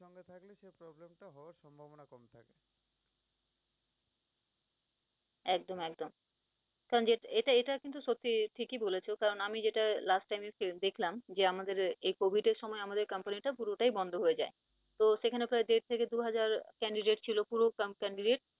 একদম একদম, কারন এ~এটা কিন্তু সত্যি ঠিকি বলেছও কারন আমি যেটা last time এ দেখলাম যে আমাদের এই covid এর সময় আমাদের company টা পুরোটাই বন্ধ হয়ে যায়। তো সেখানে প্রায় দেড় থেকে দু হাজার candidate ছিল পুরো candidate